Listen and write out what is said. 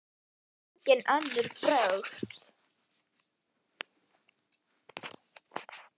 Hún kann engin önnur brögð.